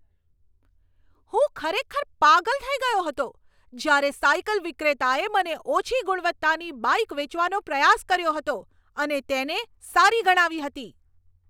હું ખરેખર પાગલ થઈ ગયો હતો જ્યારે સાયકલ વિક્રેતાએ મને ઓછી ગુણવત્તાની બાઈક વેચવાનો પ્રયાસ કર્યો હતો અને તેને સારી ગણાવી હતી.